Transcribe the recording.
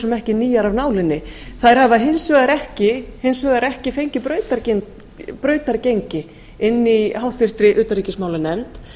sem ekki nýjar af nálinni þær hafa hins vegar ekki fengið brautargengi inni í háttvirtri utanríkismálanefnd